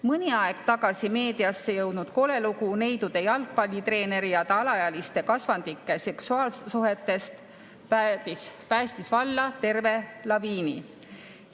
Mõni aeg tagasi meediasse jõudnud kole lugu neidude jalgpallitreeneri ja alaealiste kasvandike seksuaalsuhetest päästis valla terve laviini.